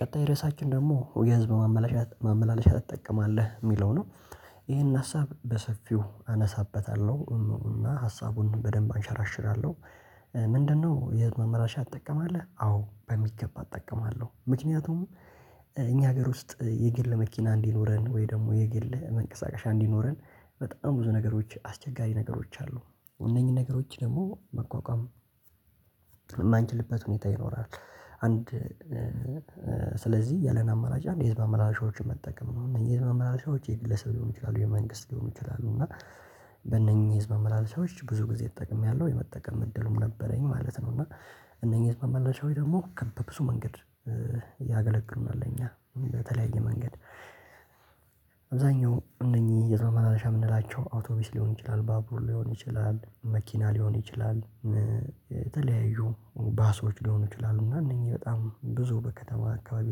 ቀጣይ ርዕሳችን ደግሞ የህዝብ ማመላለሻ ትጠቀማለህ የሚለው ነው ይሄን ሀሳብ በሰፊው አነሳበታለሁ እና ሀሳቡን በደንብ አንሸራሽራለሁ ምንድነው የህዝብ ማመላለሻ ትጠቀማለህ? አዎ በሚገባ እጠቀማለሁ ምክንያቱም እኛ ሀገር ውስጥ የግል መኪና እንዲኖረን ወይ ደግሞ የግል መንቀሳቀሻ እንዲኖረን በጣም ብዙ ነገሮች አስቸጋሪ ነገሮች አሉ እነኚህ ነገሮች ደግሞ መቋቋም ማንችልበት ሁኔታ ይኖራል አንድ ስለዚህ ያለን አማራጭ አንድ የህዝብ ማመላለሻዎችን መጠቀም ነው እነዚህ የህዝብ ማመላሻዎች የግለሰብ ሊሆን ይችላሉ የመንግስት ሊሆን ይችላሉ እና በእነኚህ ህዝብ መመላለሻዎች ብዙ ጊዜ ተጠቅሜያለሁ የመጠቀም እድልም ነበረኝ ማለት ነው እና እነኚህ መመለሻዎች ደግሞ በብዙ መንገድ ያገለግሉናል ለእኛ በተለያየ መንገድ አብዛኛው እነኚህ የህዝብ ማመላለሻ የምንላቸው አውቶቢስ ሊሆን ይችላል ባቡር ሊሆን ይችላል መኪና ሊሆን ይችላል የተለያዩ ባሶች ሊሆኑ ይችላሉ እና እነኚህ በጣም ብዙ በከተማ አካባቢ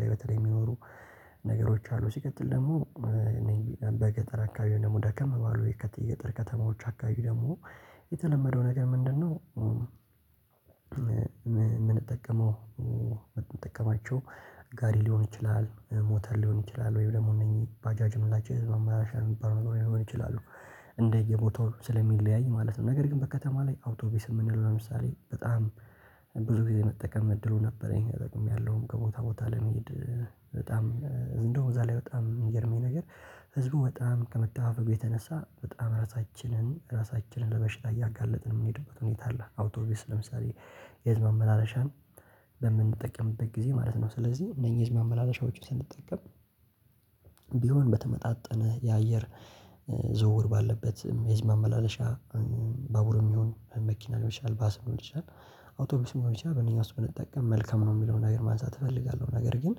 ላይ በተለይ የሚኖሩ ነገሮች አሉ ሲቀጥል ደግሞ እኔ በገጠር አካባቢ ደግሞ ደከም ባሉ የከተማው ገጠር ከተማዎች አካባቢ ደግሞ የተለመደው ነገር ምንድነው የምንጠቀመው የምንጠቀማቸው ጋሪ ሊሆን ይችላል ሞተር ሊሆን ይችላል ወይም ደግሞ እነኚህ ባጃጅ የምንላቸው የህዝብ መመላለሻ የሚባሉነገሮች ሊሆኑ ይችላሉ እንደየቦታው ስለሚለያይ ማለት ነው ነገር ግን በከተማ ላይ አውቶቢስ የምንለው ለምሳሌ በጣም ብዙ ጊዜ መጠቀም እድሉ ነበረኝ ጠቅሜያለሁም ከቦታ ቦታ ለመሄድ በጣም እንደውም እዛ ላይ በጣም የሚገርመኝ ነገር ህዝቡ በጣም ከመተፋፈጉ የተነሳ በጣም ራሳችንን ራሳችንን ለበሽታ እያጋለጥን የምንሄድበት ሁኔታ አለ አውቶቢስ ለምሳሌ የህዝብ ማመላለሻን በምንጠቀምበት ጊዜ ማለት ነው ስለዚህ እነኚህ ማመላለሻዎችን ስንጠቀም ቢሆን በተመጣጠነ የአየር ዝውውር ባለበት የህዝብ ማመላለሻ ባቡርም ይሁን መኪና ሊሆን ይችላል ባስ ሊሆን ይችላል አውቶቡስ ሊሆን ይችላል በእነኚህ ውስጥ ብንጠቀም መልካም ነው የሚለውን ነገር ማንሳት እፈልጋለሁ ነገር ግን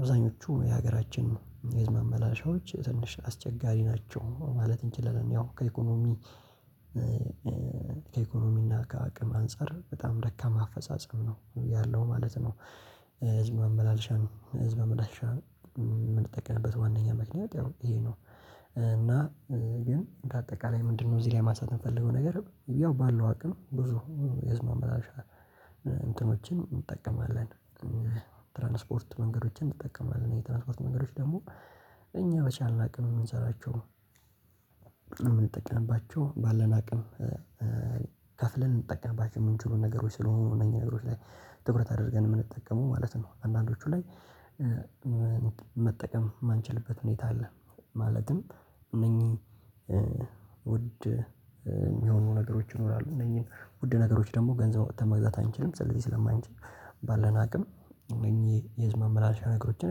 አብዛኞቹ የሀገራችን የህዝብ ማመላለሻዎች ትንሽ አስቸጋሪ ናቸው ማለት እንችላለን ያው ከኢኮኖሚ ከኢኮኖሚና ከአቅም አንፃር በጣም ደካማ አፈጻጸም ነው ያለው ማለት ነው። ህዝብ ማመላለሻ ህዝብ ማመላለሻ ነው የምንጠቅምበት ዋነኛ ምክንያት ያው ይሄ ነው እና ግን በአጠቃላይ ምንድነው እዚህ ላይ ማሳተም የፈለገው ነገር ያው ባለው አቅም ብዙ የህዝብ ማ መላለሻ እንትኖችን እንጠቀማለን፤ ትራንስፖርት መንገዶችን እንጠቀማለን የትራንስፖርት መንገዶች ደግሞ እኛ በቻልን አቅን የምንሰራቸው የምንጠቅንባቸው ባለን አቅም ከፍለን የምንጠቀምባቸው የምንችሉ ነገሮች ስለሆኑ እነዚህ ነገሮች ላይ ትኩረት አድርገን የምንጠቀመው ማለት ነው አንዳንዶቹ ላይ መጠቀም የማንችልበት ሁኔታ አለ ማለትም እነኚህ ውድ የሚሆኑ ነገሮች ይኖራሉ እነዚህን ውድ ነገሮች ደግሞ ገንዘብ አውጥተን መግዛት አንችልም ስለዚህ ስለማንችል ባለን አቅም እነኚህ የህዝብ ማመላለሻ ነገሮችን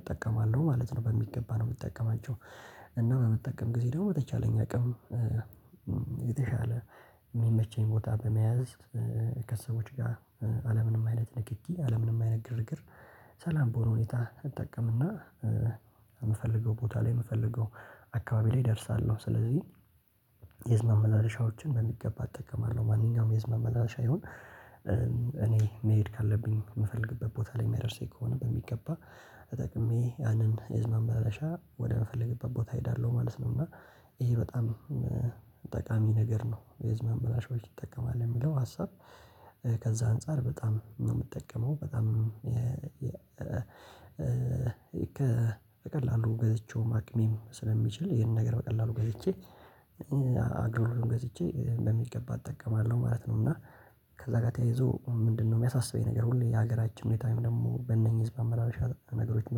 እጠቀማለሁ ማለት ነው በሚገባ ነው የምጠቀማቸው። እና በመጠቀም ጊዜ ደግሞ በተቻለኝ አቅም የተሻለ የሚመቸኝ ቦታ በመያዝ ከሰዎች ጋር አለምንም አይነት ንክኪ አለምንም አይነት ግርግር ሰላም በሆነ ሁኔታ እጠቀምና የምፈልገው ቦታ ላይ የምፈልገው አካባቢ ላይ ደርሳለሁ ስለዚህ የህዝብ ማመላለሻዎችን በሚገባ እጠቀማለሁ ማንኛውም የህዝብ ማመላለሻ ይሁን እኔ መሄድ ካለብኝ የምፈልግበት ቦታ ላይ የሚያደርሰኝ ከሆነ በሚገባ ተጠቅሜ ያንን የህዝብ ማመላለሻ ወደምፈልግበት ቦታ እሄዳለሁ ማለት ነው እና ይሄ በጣም ጠቃሚ ነገር ነው የህዝብ ማመላለሾች ትጠቀማለህ የሚለው ሀሳብ ከዛ አንፃር በጣም ነው የምጠቀመው በጣም በቀላሉ ገዝቼውም አቅሜም ስለሚችል ይሄንን ነገር በቀላሉ ገዝቼ አገሩንም ገዝቼ በሚገባ እጠቀማለሁ ማለት ነው እና ከዛ ጋር ተያይዞ ምንድነው የሚያሳስበኝ ነገር ሁሌ የሀገራችን ሁኔታ ወይም ደግሞ በእነኚህ የህዝብ ማመላለሻ ነገሮችን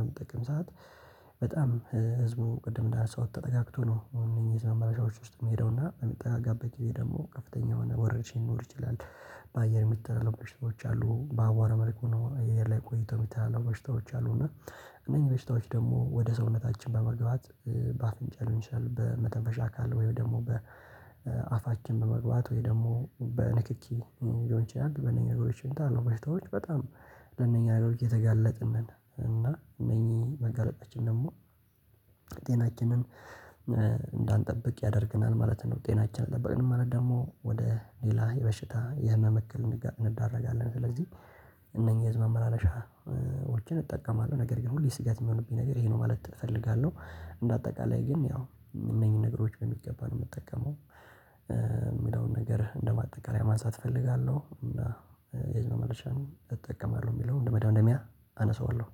በሚጠቅም ሰዓት በጣም ህዝቡ ቅድም እንዳነሳሁት ተጠጋግቶ ነው እነዚህ መመላሻዎች ውስጥ የሚሄደውና በሚጠጋጋበት ጊዜ ደግሞ ከፍተኛ የሆነ ወረርሽ ሊኖር ይችላል በአየር የሚተላለፉ በሽቶች አሉ በአቧራ መልኩ ነው አየር ላይ ቆይቶ የሚተላለፉ በሽታዎች አሉ እና እነኚህ በሽታዎች ደግሞ ወደ ሰውነታችን በመግባት በአፍንጫ ሊሆን ይችላል በመተንፈሻ አካል ወይም ደግሞ በአፋችን በመግባት ወይም ደግሞ በንክኪ ሊሆን ይችላል በነኚህ ነገሮች ይመጣሉ በሽታዎች በጣም ለነኚህ ነገሮች እየተጋለጥን ነን እና እነኚህ መጋለጣችን ደግሞ ጤናችንን እንዳንጠብቅ ያደርገናል ማለት ነው ጤናችን አሌጠብቅንም ማለት ደግሞ ወደ ሌላ የበሽታ የህመም እክል እንዳረጋለን ስለዚህ እነኚህ ህዝብ መመላለሻዎችን እጠቀማለሁ ነገር ግን ሁሌ ስጋት የሚሆንብኝ ነገር ይሄ ነው ማለት እፈልጋለሁ እንደ አጠቃላይ ግን ያው እነኚህን ነገሮች በሚገባ ነው የምጠቀመው የሚለውን ነገር እንደማጠቃለያ ማሳየት እፈልጋለሁ እና የህዝብ መመላለሻን እጠቀማለሁ የሚለውን እንደ መደምደሚያ አነሳዋለሁ።